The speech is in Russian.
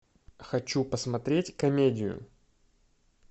хочу посмотреть комедию